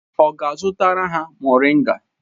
Ọ ga-azụrụ ha moringa?